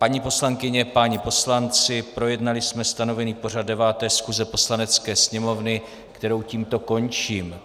Paní poslankyně, páni poslanci, projednali jsme stanovený pořad 9. schůze Poslanecké sněmovny, kterou tímto končím.